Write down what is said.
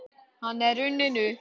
Hann er runninn upp.